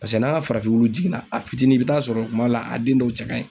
Paseke n'an ka farafin wulu jiginna ,a fitini i bi taa sɔrɔ kuma dɔw la a den dɔw cɛ ka ɲi.